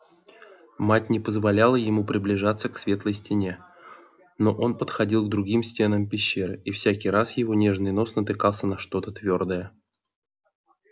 мать не позволяла ему приближаться к светлой стене но он подходил к другим стенам пещеры и всякий раз его нежный нос натыкался на что-то твёрдое